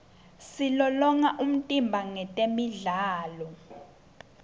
silolonga umtimba ngetemidlalo